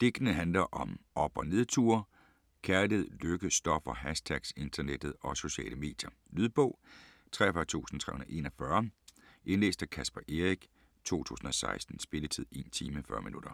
Digtene handler om op- og nedture, kærlighed, lykke, stoffer, hashtags, internettet og sociale medier. Lydbog 43341 Indlæst af Caspar Eric, 2016. Spilletid: 1 time, 40 minutter.